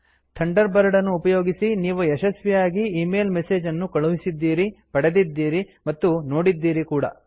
Thunderbird ಅನ್ನು ಉಪಯೋಗಿಸಿ ನೀವು ಯಶಸ್ವಿಯಾಗಿ ಈಮೇಲ್ ಮೆಸೇಜ್ ಅನ್ನು ಕಳುಹಿಸಿದ್ದೀರಿ ಪಡೆದಿದ್ದೀರಿ ಮತ್ತು ನೋಡಿದ್ದೀರಿ ಕೂಡ